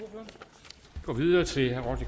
går videre til herre